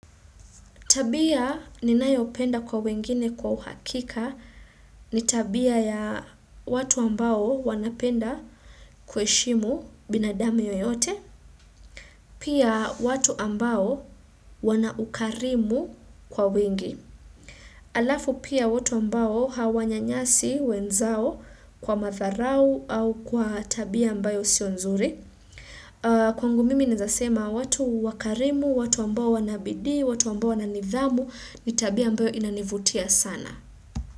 Tabia ninayopenda kwa wengine kwa uhakika ni tabia ya watu ambao wanapenda kueshimu binadamu yoyote. Pia watu ambao wana ukarimu kwa wingi. Alafu pia watu ambao hawanyanyasi wenzao kwa madharau au kwa tabia ambayo sio nzuri. Kwangu mimi naezasema watu wakarimu, watu ambao wanabidii watu ambao wananidhamu ni tabia ambayo inanivutia sana.